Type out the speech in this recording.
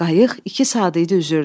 Qayıq iki saat idi üzürdü.